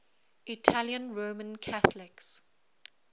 italian roman catholics